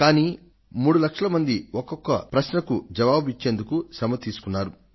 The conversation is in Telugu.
కానీ 3 లక్షల మంది ఒక్కొక్క సవాలుకు జవాబును ఇచ్చేందుకు శ్రమ పడ్డారు